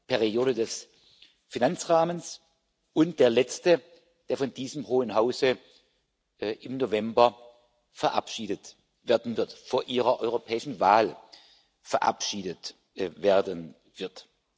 Periode des Finanzrahmens und der letzte, der von diesem Hohen Hause im November, vor Ihrer europäischen Wahl, verabschiedet werden wird.